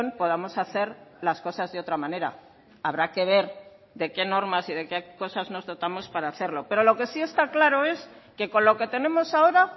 podamos hacer las cosas de otra manera habrá que ver de qué normas y de qué cosas nos dotamos para hacerlo pero lo que sí está claro es que con lo que tenemos ahora